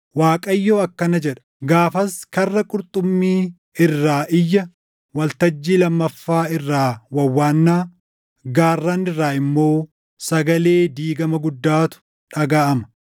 Waaqayyo akkana jedha; “Gaafas Karra Qurxummii irraa iyya, Waltajjii Lammaffaa irraa wawwaannaa, gaarran irraa immoo sagalee diigama guddaatu dhagaʼama.